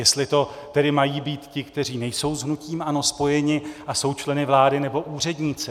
Jestli to tedy mají být ti, kteří nejsou s hnutím ANO spojeni a jsou členy vlády, nebo úředníci.